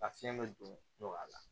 A fiɲɛ bɛ don a la